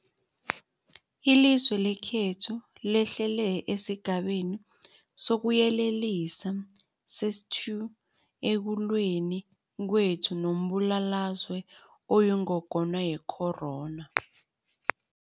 Ilizwe lekhethu lehlele esiGabeni sokuYelelisa sesi-2 ekulweni kwethu nombulalazwe oyingogwana ye-corona.